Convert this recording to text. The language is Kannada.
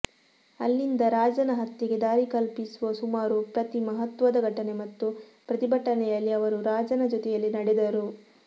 ಅಲ್ಲಿಂದ ರಾಜನ ಹತ್ಯೆಗೆ ದಾರಿಕಲ್ಪಿಸುವ ಸುಮಾರು ಪ್ರತಿ ಮಹತ್ವದ ಘಟನೆ ಮತ್ತು ಪ್ರತಿಭಟನೆಯಲ್ಲಿ ಅವರು ರಾಜನ ಜೊತೆಯಲ್ಲಿ ನಡೆದರು